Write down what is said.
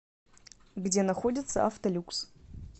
где находится автолюкс